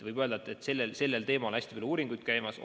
Võib öelda, et selles vallas on hästi palju uuringuid käimas.